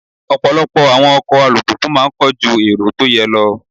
Ọ̀pọ̀lọpọ̀ àwọn ọkọ̀ alùpùpù máa ń kọ́ ju èrò tó yẹ lọ.